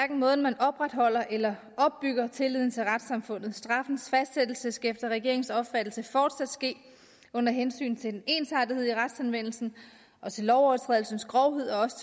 en måde man opretholder eller opbygger tilliden til retssamfundet på straffens fastsættelse skal efter regeringens opfattelse fortsat ske under hensyn til en ensartethed i retsanvendelsen og til lovovertrædelsens grovhed og også